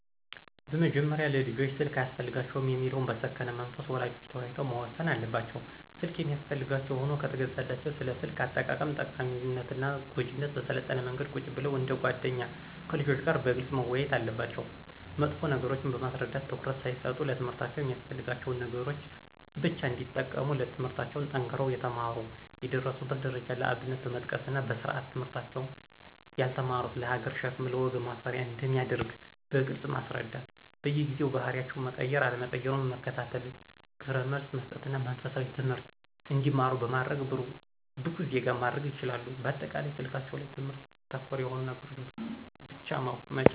በመጀመሪያ ለልጆች ስልክ አያስፈልጋቸውም የሚለውን በሰከነ መንፈስ ወላጆች ተወያይተው መወሰን አለባቸው። ስልክ የሚያስፈልጋቸው ሁኖ ከተገዛላቸው ስለ ስልክ አጠቃቀም ጠቃሚነትና ጎጅነት በሰለጠነ መንገድ ቁጭ ብለው እንደ ጎደኛ ከልጆች ጋር በግልጽ መወያየት አለባቸው መጥፎ ነገሮችን በማስረዳት ትኩረት ሳይሰጡ ለትምህርታቸው የሚያስፈልጋቸውን ነገሮች ብቻ እንዲጠቀሙ ትምለህርታቸውን ጠንክረው የተማሩ የደረሱበትን ደረጃ ለአብነት በመጥቀስና በስርአት ትምህርታቸውን ያልተማሩት ለሀገር ሸክም ለወገን ማፈሪያ አንደሚያደርግ በግልጽ ማስረዳት በየጊዜው ባህሪያቸው መቀየር አለመቀየሩን መከታተልና ግብረመልስ መሰጠትና መንፈሳዊ ትምህርት እንዲማሩ በማድረግ ብቁ ዜጋ ማድረግ ይችላሉ። በአጠቃላይ ስልካቸው ላይ ትምህርት ተኮር የሆኑ ነገሮችን ብቻ መጫን